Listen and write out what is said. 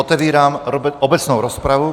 Otevírám obecnou rozpravu.